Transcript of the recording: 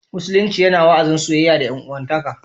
Musulunci yana wa'azin soyayya da 'yan'uwantaka